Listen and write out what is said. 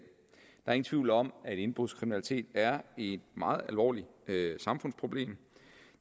der er ingen tvivl om at indbrudskriminalitet er et meget alvorligt samfundsproblem